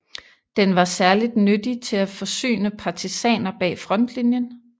Den var særligt nyttig til at forsyne partisaner bag frontlinien